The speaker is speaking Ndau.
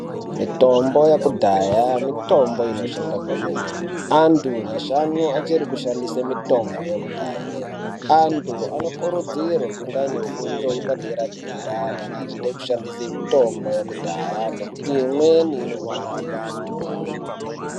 Mitombo yekudhaya mitombo inoshanda kwemene. Antu nyashanu achiri kushandise mitombo yekudhaya. Antu anokurudzirwa kunge aine fundo yepadera-dera kana achide kushandise mitombo yekudhaya ngekuti imweni inouraya